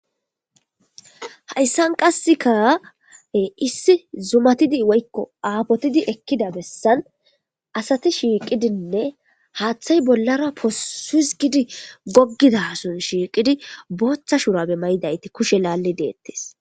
Hayisan qaseka issi zumatidi woyiko apotidi ekiza besan asati shiqidine hathi bollara pusis gidi gogidason shiqidi botha shurabe ma'idaysati kushe hisgidi eqides